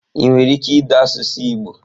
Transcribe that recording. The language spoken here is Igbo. Ị nwere ike ide asụsụ igbo?